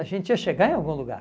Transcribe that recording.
A gente ia chegar em algum lugar.